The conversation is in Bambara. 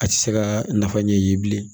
A tɛ se ka nafa ɲɛ i ye bilen